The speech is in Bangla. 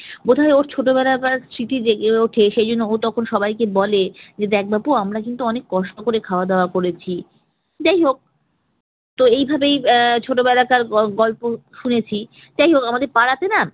বলছি যে ওর ছোটবেলাকার স্মৃতি জেগে উঠে সে জন্য ও তখন সবাইকে বলে যে দেখ বাপু আমরা কিন্তু অনেক কষ্ট করে খাওয়া-দাওয়া করেছি। যাই হোক তো এইভাবেই আহ ছোটবেলাকার গ~ গল্প শুনেছি। যাই হোক আমাদের পাড়াতে না